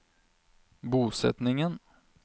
bosetningen